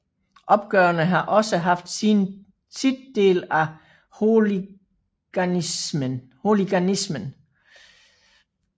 Opgørene har også haft sit del af hooliganismen